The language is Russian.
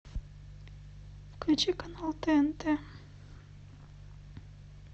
включи канал тнт